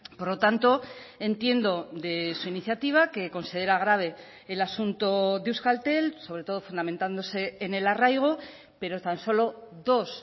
por lo tanto entiendo de su iniciativa que considera grave el asunto de euskaltel sobre todo fundamentándose en el arraigo pero tan solo dos